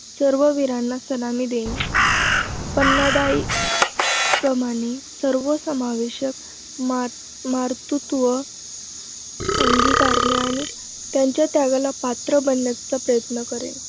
सर्ववीरांना सलामी देईन. पन्नादाई प्रमाणे सर्वसमावेशक मातृत्व अंगीकारेन आणि त्यांच्या त्यागाला पात्र बनण्याचा प्रयत्न करेन.